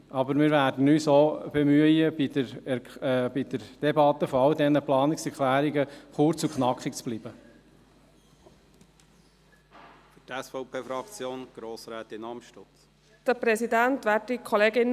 Aber wir werden uns deshalb bei der Debatte all dieser Planungserklärungen auch bemühen, kurz und knackig zu bleiben.